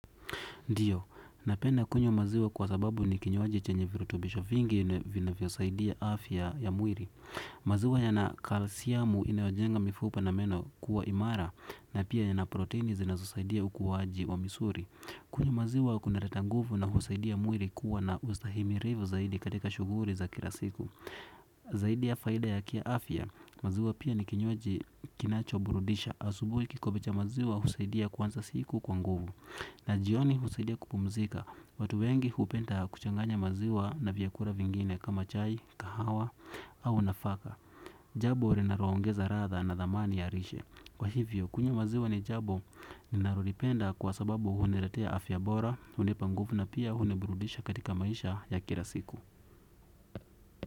Ndiyo, napenda kunywa maziwa kwa sababu ni kinywaji chenye virutubisho vingi ina, vinavyo saidia afya ya mwili. Maziwa yana kalisiamu inayojenga mifupi na meno kuwa imara na pia yana proteini zinazosaidia ukuwaji wa misuli. Kunywa maziwa kuna leta nguvu na kusaidia mwili kuwa na ustahimilivu zaidi katika shughuli za kila siku. Zaidi ya faida ya ki afya, maziwa pia ni kinywaji kinacho burudisha asubui kikombe cha maziwa husaidia kuwanza siku kwa nguvu. Na jioni husidia kupumzika, watu wengi hupenda kuchanganya maziwa na vyakula vingine kama chai, kahawa au nafaka. Jambo linalo ongeza radha na dhamani ya rishe. Kwa hivyo, kunywa maziwa ni jambo, ninalo lipenda kwa sababu huni letea afya bora, hunipa nguvu na pia huni burudisha katika maisha ya kila siku.